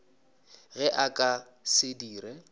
ge a ka se dire